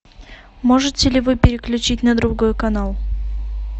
можете ли вы переключить на другой канал